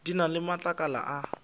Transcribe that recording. di na le matlakala a